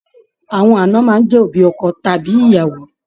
Àwọn aana máa n jẹ òbí ọkọ tàbí ìyàwó.